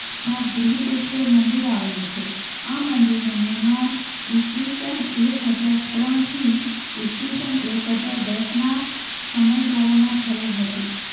માં બૃહદેશ્વર મંદિર આવેલું છે. આ મંદિરનું નિર્માણ ઈસ્વીસન એક હજાર ત્રણ થી ઈસ્વીસન એક હજાર દસ નાં સમયગાળામાં થયું હતું.